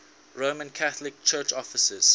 roman catholic church offices